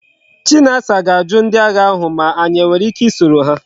Chinasa ga aju ndi agha ahu ma anyi enwere ike i soro ha